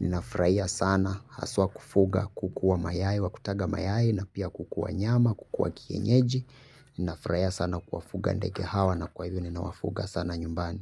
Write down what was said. Ninafraia sana. Haswa kufuga kukuwa mayai. Wakutaga mayai. Napia kukuwa nyama. Kukuwa kienyeji. Ninafraia sana kuwa fuga ndege hawa. Na kwa hivyo ni nawafuga sana nyumbani.